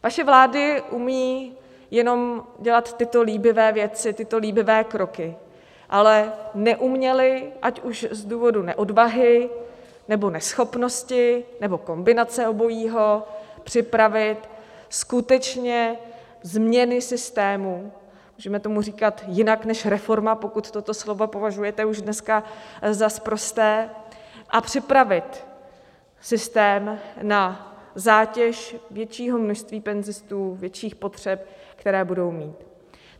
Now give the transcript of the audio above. Vaše vlády umějí jenom dělat tyto líbivé věci, tyto líbivé kroky, ale neuměly, ať už z důvodu neodvahy, nebo neschopnosti, nebo kombinace obojího, připravit skutečně změny systému - můžeme tomu říkat jinak než reforma, pokud toto slovo považujete už dneska za sprosté - a připravit systém na zátěž většího množství penzistů, větších potřeb, které budou mít.